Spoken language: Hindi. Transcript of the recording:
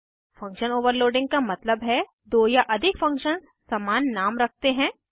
फंक्शन ओवरलोडिंग का मतलब है दो या अधिक फंक्शन्स समान नाम रख सकते हैं